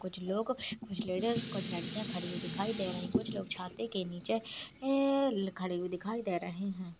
कुछ लोग कुछ लेडीज कुछ लड़कियां खड़ी हुई दिखाई दे रही कुछ लोग छाते के नीचे ए खड़े हुये दिखाई दे रहे है।